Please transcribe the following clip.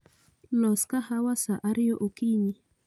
Los kahawa saa ariyo okinyi